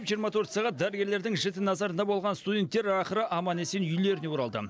жиырма төрт сағат дәрігерлердің жіті назарында болған студенттер ақыры аман есен үйлеріне оралды